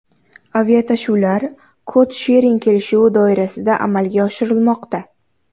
Aviatashuvlar kod-shering kelishuvi doirasida amalga oshirilmoqda.